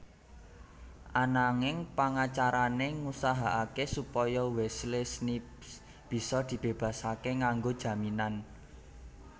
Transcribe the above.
Ananging pangacarané ngusahakaké supaya Wesley Snipes bisa dibebaseké nganggo jaminan